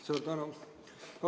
Suur tänu!